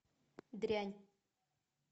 дрянь